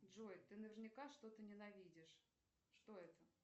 джой ты наверняка что то ненавидишь что это